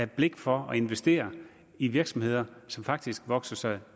blik for at investere i virksomheder som faktisk vokser sig